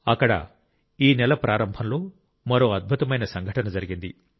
అక్కడ ఈ నెల ప్రారంభంలో మరో అద్భుతమైన సంఘటన జరిగింది